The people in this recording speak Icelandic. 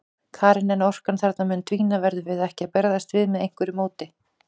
Karen: En orkan þarna mun dvína, verðum við ekki að bregðast við með einhverju móti?